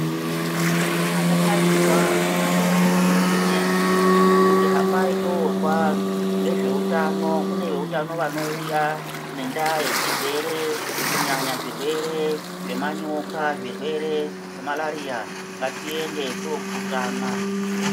Kana tadaidzwa kunyanya makanyi medu kuti hambai tomzwa nezvehutano kune vehutano vanouya ngenda yechirwere kunyanya zvirwere zvemanyoka zvirwere zvemarariya ngatiende tino purutana .